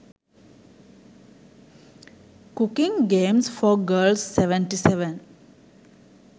cooking games for girls 77